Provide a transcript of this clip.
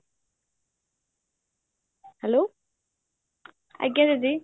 hello